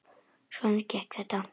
Svona gekk þetta.